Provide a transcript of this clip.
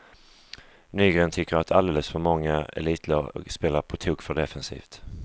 Nygren tycker att alldeles för många elitlag spelar på tok för defensivt.